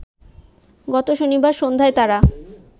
গত শনিবার সন্ধ্যায় তারা